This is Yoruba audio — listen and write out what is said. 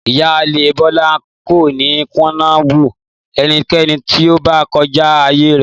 Ìyáálé Bólá kò ní kùnà bú enikéni tí ó bá ko̩já àyè rè̩